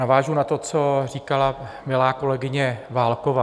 Navážu na to, co říkala milá kolegyně Válková.